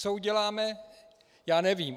Co uděláme, já nevím.